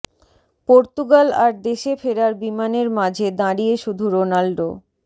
Portugal আর দেশে ফেরার বিমানের মাঝে দাঁড়িয়ে শুধু রোনাল্ডো